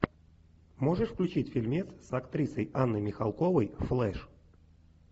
можешь включить фильмец с актрисой анной михалковой флэш